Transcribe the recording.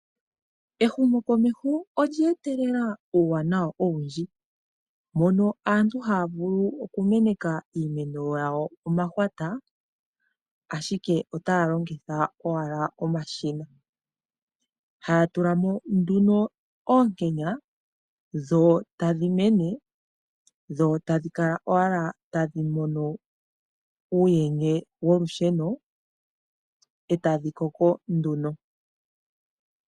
Ehumokomeho olya etelela uuwanawa owundji. Mono aantu haya vulu okumeneka iimeno yawo omahwata ashike otaa longitha owala omashina. Haya tula mo nduno oonkenya, dho tadhi mene dho tadhi kala owala tadhi mono uuyenye wolusheno, e tadhi koko nduno.